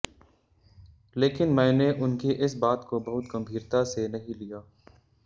लेकिन मैने उनकी इस बात को बहुत गंभीरता से नहीं लिया